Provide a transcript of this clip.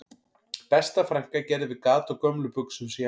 Besta frænka gerði við gat á gömlum buxum sem ég átti